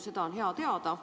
Seda on hea teada.